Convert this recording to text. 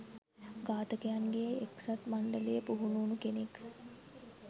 ඝාතකයින්ගේ එක්සත් මණ්ඩලයේ පුහුණු උණු කෙනෙක්.